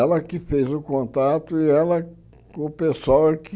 Ela que fez o contato e ela com o pessoal é que.